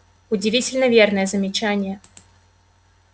удивительно верное замечание